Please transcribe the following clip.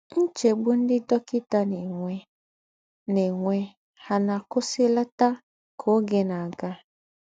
Ńchègbù ńdị́ dọ́kịtà ná-ènwè ná-ènwè hà ná-àkụ̀wụ̀sìlàtà kà ọ́gè ná-àgà?